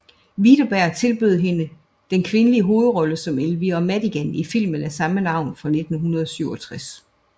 Widerberg tilbød hende den kvindelige hovedrolle som Elvira Madigan i filmen af samme navn fra 1967